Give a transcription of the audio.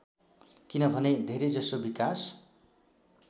किनभने धेरैजसो विकास